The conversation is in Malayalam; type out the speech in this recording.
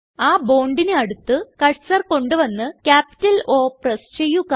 ആ bondന് അടുത്ത് കർസർ കൊണ്ട് വന്ന് ക്യാപിറ്റൽ O പ്രസ് ചെയ്യുക